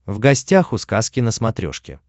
в гостях у сказки на смотрешке